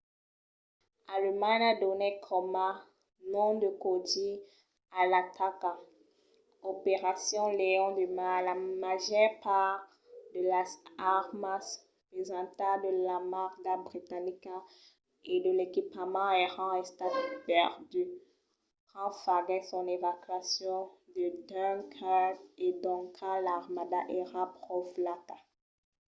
alemanha donèt coma nom de còdi a l’ataca operacion leon de mar”. la màger part de las armas pesantas de l’armada britanica e de l'equipament èran estat perduts quand faguèt son evacuacion de dunkirk e doncas l’armada èra pro flaca